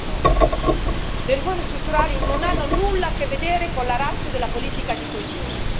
2019. Le riforme strutturali non hanno nulla a che vedere con la ratio della politica di coesione.